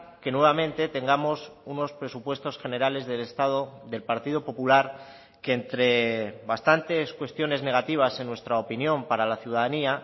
que nuevamente tengamos unos presupuestos generales del estado del partido popular que entre bastantes cuestiones negativas en nuestra opinión para la ciudadanía